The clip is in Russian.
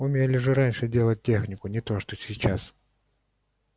умели же раньше делать технику не то что сейчас